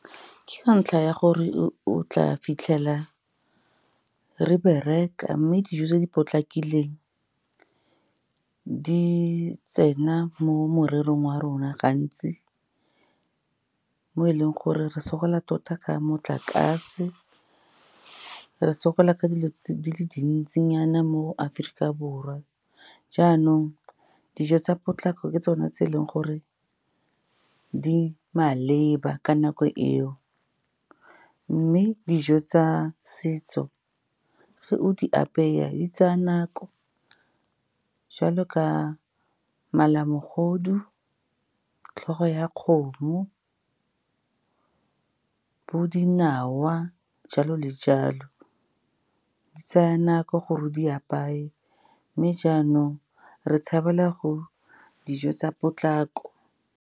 Ke ka ntlha ya gore o tla fitlhela re bereka, mme dijo tse di potlakileng di tsena mo morerong wa rona gantsi, mo e leng gore re sokola tota ka motlakase, re sokola ka dilo di le dintsinyana mo Aforika Borwa. Jaanong dijo tsa potlako ke tsone tse e leng gore di maleba ka nako eo. Mme dijo tsa setso fa o di apeya e tsaya nako jwalo ka malamogodu, tlhogo ya kgomo, bo dinawa jalo le jalo. Di tsaya nako gore o di apaye mme jaanong re tshabela go dijo tsa potlako.